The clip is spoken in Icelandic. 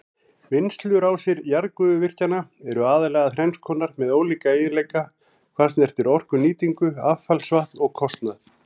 Vinnslurásir jarðgufuvirkjana eru aðallega þrenns konar með ólíka eiginleika hvað snertir orkunýtingu, affallsvatn og kostnað.